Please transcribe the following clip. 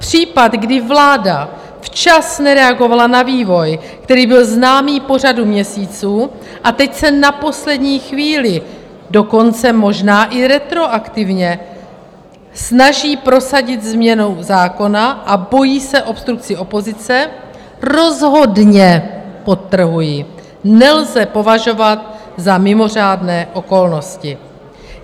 Případ, kdy vláda včas nereagovala na vývoj, který byl známý po řadu měsíců, a teď se na poslední chvíli, dokonce možná i retroaktivně, snaží prosadit změnou zákona a bojí se obstrukcí opozice, rozhodně, podtrhuji, nelze považovat za mimořádné okolnosti.